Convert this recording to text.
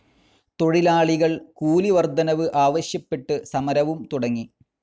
തൊഴിലാളികൾ കൂലി വർദ്ധനവ് ആവശ്യപ്പെട്ട് സമരവും തുടങ്ങി.